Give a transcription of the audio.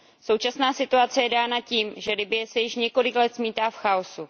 Současná situace je dána tím, že Libye se již několik let zmítá v chaosu.